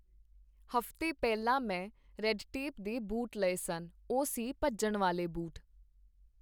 ਹਫ਼ਤੇ ਪਹਿਲਾਂ ਮੈਂ ਰੈੱਡਟੇਪ ਦੇ ਬੂਟ ਲਏ ਸਨ, ਉਹ ਸੀ ਭੱਜਣ ਵਾਲ਼ੇ ਬੂਟ